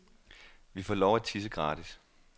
Vi får lov at tisse gratis.